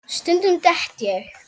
Stundum dett ég.